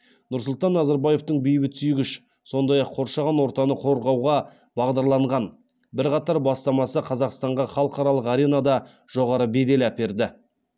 нұрсұлтан назарбаевтың бейбітсүйгіш сондай ақ қоршаған ортаны қорғауға бағдарланған бірқатар бастамасы қазақстанға халықаралық аренада жоғары бедел әперді